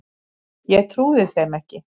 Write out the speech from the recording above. Ég trúði þeim ekki.